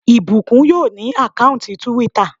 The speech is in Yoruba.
Ìbùkún yóò ní àkáùntì túwítà